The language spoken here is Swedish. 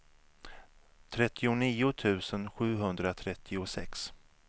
trettionio tusen sjuhundratrettiosex